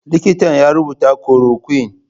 Likitan ya rubuta korokwin.